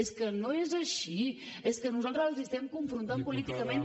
és que no és així és que nosaltres els estem confrontant políticament